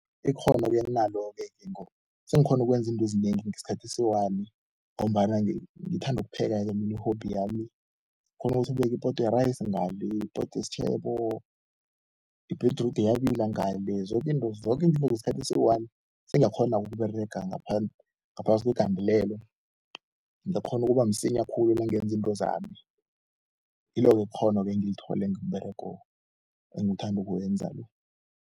Ikghono-ke enginalo-ke sengikghona ukwenza into ezinengi ngesikhathi esiyi-one ngombana ngithanda ukupheka-ke mina i-hobby. Ngikghona ukuthi ngibeke ipoto yerayisi ngale, ipoto yesitjhebo, i-beetroot iyabila ngale, zoke into zoke ngesikhathi esiyi-one, sengiyakghona-ke ukuberega ngaphasi kwegandelelo. Ngiyakghona ukuba msinya khulu nangenza into zami, ngilobo ubukghono engibuthole ngomberego engiwuthanda ukuwenza lo.